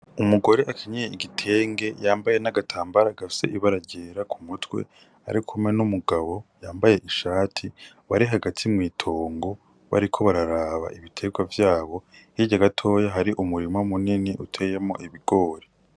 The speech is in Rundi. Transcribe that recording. Umugore akenyeye igitenge yambaye n'agatambara gafise ibara ryera ku mutwe arikumwe n'umugabo yambaye ishati ari hagati mw'itongo bariko bararaba ibiterwa vyabo hirya gatoya hari umurima munini uteyemwo ibigori.